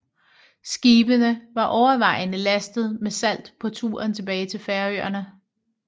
Skibene var overvejende lastet med salt på turen tilbage til Færøerne